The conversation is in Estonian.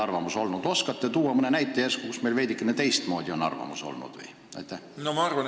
Oskate järsku tuua mõne näite, kui meil on veidikene teistmoodi arvamus olnud?